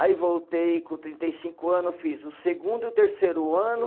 Aí voltei com trinta e cinco anos, eu fiz o segundo e o terceiro ano.